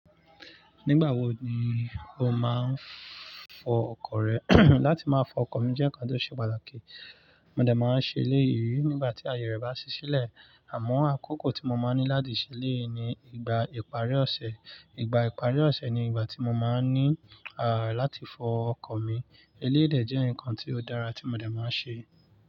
Nígbà wo ni o máa ń fọ ọkọ̀ rẹ? Láti máa fọ ọkọ̀ mi jẹ́ nǹkan tó ṣe pàtàkì. Mo dà máa ń ṣe eléyìí nígbà tí aaye rẹ̀ bá ṣí sílẹ̀ àmọ́ àkókò tí mo máa ń ní láti ṣe eléyi ni ìgbà ìparí ọ̀sẹ̀. Ìgbà ìparí ọ̀sẹ̀ ni ìgbà tí mo máa ń ní láti fọ ọkọ̀ mi. Eléyi dè jẹ́ ǹnkan tí ó dára tí mo de máa ń ṣe.